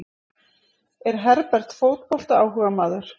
Er Herbert fótboltaáhugamaður?